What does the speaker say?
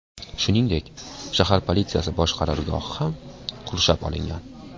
Shuningdek, shahar politsiyasi bosh qarorgohi ham qurshab olingan.